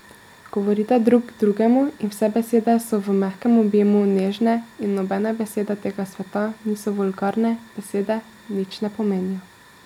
Govorita drug drugemu in vse besede so v mehkem objemu nežne in nobene besede tega sveta niso vulgarne, besede nič ne pomenijo.